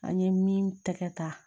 An ye min tɛgɛ ta